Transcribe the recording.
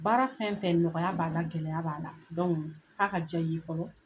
Baara fɛn-fɛn nɔgɔya b'a la gɛlɛya b'a la f'a ka diya i ye fɔlɔ